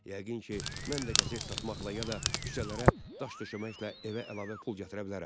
Yəqin ki, mən də qəzet satmaqla ya da küçələrə daş döşəməklə evə əlavə pul gətirə bilərəm.